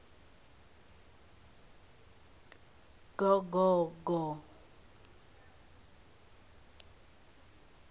gogogo